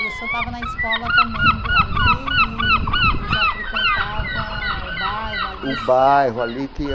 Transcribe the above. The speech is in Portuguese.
E o senhor estava na escola também ali eee e já frequentava o bairro ali? O bairro ali